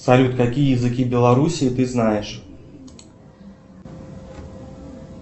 салют какие языки белоруссии ты знаешь